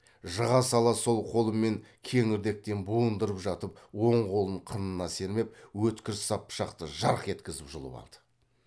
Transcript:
жыға сала сол қолымен кеңірдектен буындырып жатып оң қолын қынына сермеп өткір сап пышақты жарқ еткізіп жұлып алды